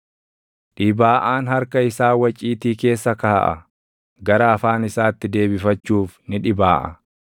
Dhibaaʼaan harka isaa waciitii keessa kaaʼa; gara afaan isaatti deebifachuuf ni dhibaaʼa.